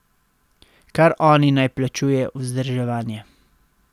Kar oni naj plačujejo vzdrževanje.